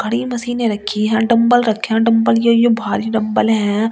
खड़ी मशीने रखी है डंबल रखें डंबल यो यो भारी डंबल है।